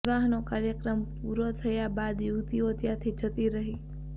વિવાહનો કાર્યક્રમ પૂરો થયા બાદ યુવતીઓ ત્યાંથી જતી રહી